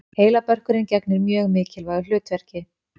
Heilabörkurinn gegnir mjög mikilvægu hlutverki.